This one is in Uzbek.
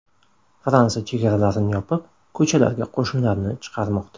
Fransiya chegaralarni yopib, ko‘chalarga qo‘shinlarni chiqarmoqda.